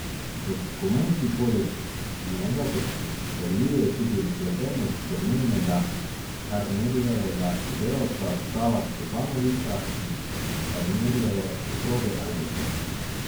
Dokumenti poleg njega potrjujejo tudi vpletenost domnevnega Karnerjevega sodelavca Sava Stjepanovića in Karnerjeve soproge Alenke.